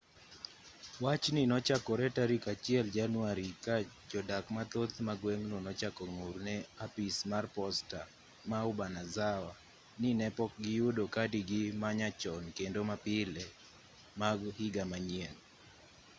wachni nochakore tarik 1 january ka jodak mathoth ma gweng'no nochako ng'ur ne apis mar posta ma obanazawa ni ne pok giyudo kadigi ma nyachon kendo ma pile mag higa manyien